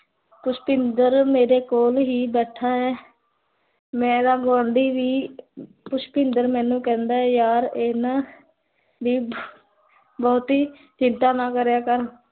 ਪੁਸ਼ਪਿੰਦਰ ਮੇਰੇ ਕੋਲ ਹੀ ਬੈਠਾ ਹੈ ਮੇਰਾ ਗਵਾਂਡੀ ਵੀ, ਪੁਸ਼ਪਿੰਦਰ ਮੈਨੂੰ ਕਹੰਦਾ ਹੈ, ਯਾਰ, ਇੰਨਾ ਦੀ ਬਹੁਤੀ ਚਿੰਤਾ ਨਾ ਕਰਿਆ ਕਰ